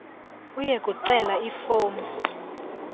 uye kucela ifomu